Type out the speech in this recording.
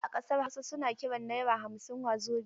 A ƙasar Hausa su na kiran naira hamsin "Wazobia".